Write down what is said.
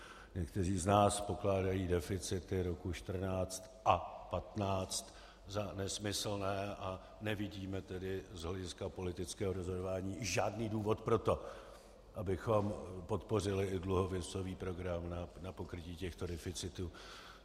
Někteří z nás pokládají deficity roku 2014 a 2015 za nesmyslné, a nevidíme tedy z hlediska politického rozhodování žádný důvod pro to, abychom podpořili i dluhopisový program na pokrytí těchto deficitů.